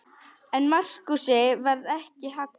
En Markúsi varð ekki haggað.